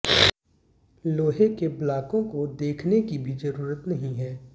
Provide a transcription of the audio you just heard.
लोहे के ब्लॉकों को देखने की भी जरूरत नहीं है